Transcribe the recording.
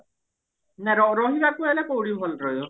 ର ର ରହିବାକୁ ହେଲେ କୋଉଠି ଭଲ ରହିବ